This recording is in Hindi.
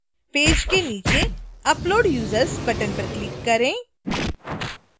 पेज के नीचे upload users button पर click करें